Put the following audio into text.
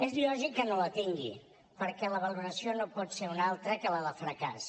és lògic que no la tingui perquè la valoració no pot ser una altra que la de fracàs